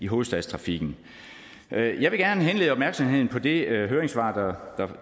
hovedstadstrafikken jeg vil gerne henlede opmærksomheden på det høringssvar